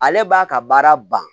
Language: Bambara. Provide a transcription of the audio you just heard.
Ale b'a ka baara ban